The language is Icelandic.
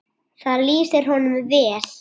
Það lýsir honum vel.